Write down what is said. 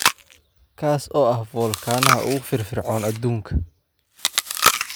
kaas oo ah foolkaanaha ugu firfircoon aduunka